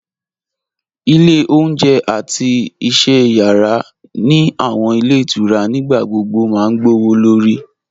Ile ọ̀unjẹ̀ àti iṣẹ̀ yara ni awọn ilẹ̀ itura nígbàgbogbo ma gbọwọ́lọ̀rì